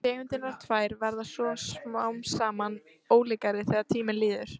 Tegundirnar tvær verða svo smám saman ólíkari þegar tíminn líður.